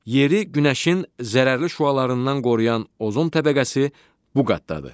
Yeri günəşin zərərli şüalarından qoruyan ozon təbəqəsi bu qatdadır.